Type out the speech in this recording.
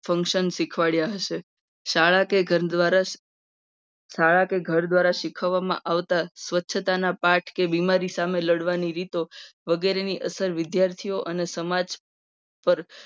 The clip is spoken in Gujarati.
Function શીખવાડ્યા હશે. જ્યાં શાળા દ્વારા શાળા કે ઘર દ્વારા શીખવવામાં આવતું શીખવવામાં આવતા સ્વચ્છતા ના પાઠ કે બીમારી સાથે લડવાની રીતો વગેરેની અસર વિદ્યાર્થીઓ અને સમાજ પર